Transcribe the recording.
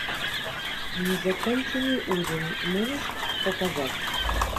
незаконченный ужин можешь показать